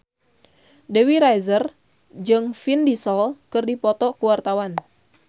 Dewi Rezer jeung Vin Diesel keur dipoto ku wartawan